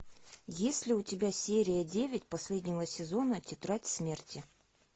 есть ли у тебя серия девять последнего сезона тетрадь смерти